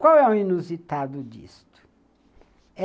Qual é o inusitado disto?